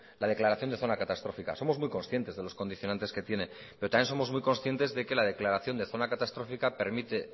la declaración de zona catastrófica somos muy conscientes de los condicionantes que tiene pero también somos muy conscientes de que la declaración de zona catastrófica permite